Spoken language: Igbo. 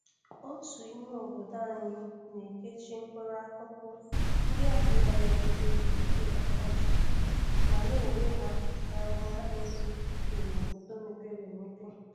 Otu ime obodo anyị na-ekechi mkpụrụ akụkụ nndi ahụ na-anagide oke ọkọchị ma na-ere ha n'ahia ndị dị n'obodo mepere emepe.